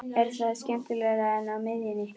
Er það skemmtilegra en á miðjunni?